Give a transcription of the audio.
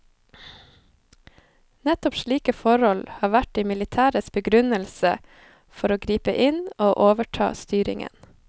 Nettopp slike forhold har vært de militæres begrunnelse for å gripe inn og overta styringen.